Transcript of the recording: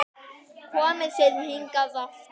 Komið þið hingað aftur!